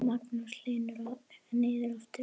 Magnús Hlynur: Og niður aftur?